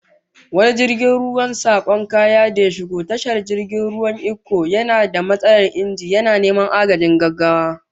Wani jirgin ruwan sakon kaya da ya shigo tashar jirgin ruwan Ikko, yana da matsalar inji, yana neman agajin gaggawa